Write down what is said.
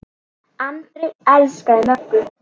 Andri elskaði Möggu.